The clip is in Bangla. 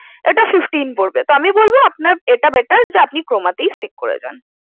এটা fifteen পড়বে। তো আমি বলবো আপনার এটা better আপনি Croma তেই Stick করে যান।